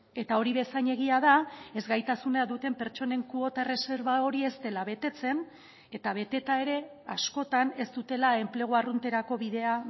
eta hori bezain egia da ezgaitasuna duten pertsonen kuota erreserba hori ez dela betetzen eta beteta ere askotan ez dutela enplegu arrunterako bidea